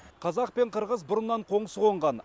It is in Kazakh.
қазақ пен қырғыз бұрыннан қоңыс қонған